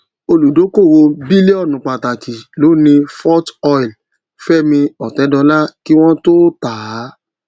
olùdókòwò bílíònù pàtàkì ló ni forte oil fẹmi ọtẹdọlá kí wọn tó tà á